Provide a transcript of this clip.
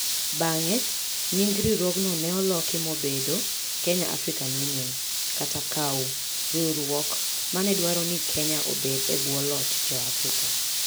Bang'e, nying riwruogno ne oloki mobedo Kenya African Union (KAU), riwruok ma ne dwaro ni Kenya obed e bwo loch Jo - Afrika.